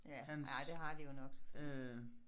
Ja ah det har de jo nok selvfølgelig